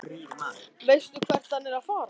Veistu hvert hann er að fara?